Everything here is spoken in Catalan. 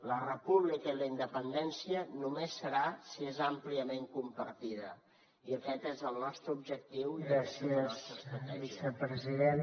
la república i la independència només serà si és àmpliament compartida i aquest és el nostre objectiu i és la nostra estratègia